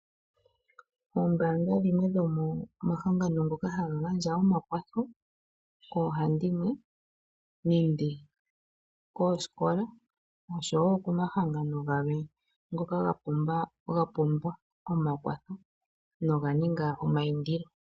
Ombaanga dhimwe dhomomahangano ngoka haga gandja omakwatho koohandimwe nenge koosikola noshowo komahangano galwe ngoka ga pumbwa omakwatho noga ninga omaindilo.